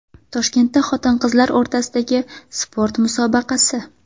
Toshkentda xotin-qizlar o‘rtasidagi sport musobaqasi.